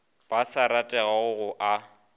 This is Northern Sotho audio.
ba sa ratego go a